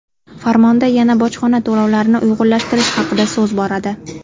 Farmonda yana bojxona to‘lovlarini uyg‘unlashtirish haqida so‘z boradi.